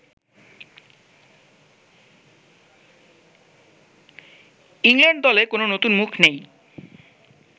England দলে কোনো নতুন মুখ নেই